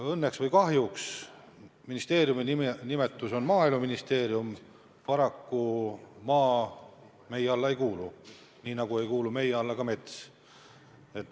Õnneks või kahjuks, kuigi ministeeriumi nimi on Maaeluministeerium, maa meie alla ei kuulu, nii nagu ei kuulu meie alla ka mets.